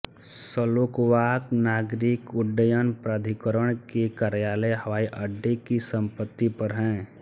Slovak नागरिक उड्डयन प्राधिकरण के कार्यालय हवाई अड्डे की संपत्ति पर हैं